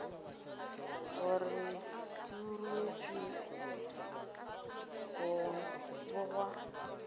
gore di ruetšwe go bogwa